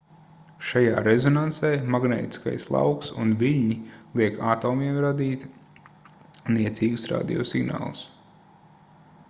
šajā rezonansē magnētiskais lauks un viļņi liek atomiem raidīt niecīgus radio signālus